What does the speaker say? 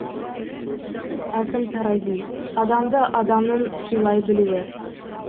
әкім тарази адамды адамның сыйлай білуі